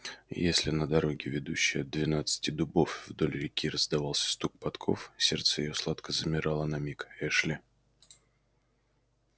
и если на дороге ведущей от двенадцати дубов вдоль реки раздавался стук подков сердце её сладко замирало на миг-эшли